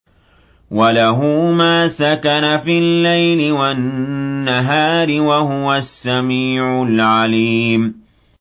۞ وَلَهُ مَا سَكَنَ فِي اللَّيْلِ وَالنَّهَارِ ۚ وَهُوَ السَّمِيعُ الْعَلِيمُ